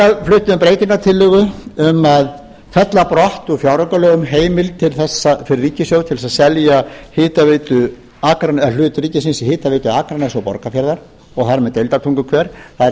við breytingartillögu um að fella brott úr fjáraukalögum heimild til þess fyrir ríkissjóð að selja hlut ríkisins í hitaveitu akraness og borgarfjarðar og þar með deildartunguhver það er heimild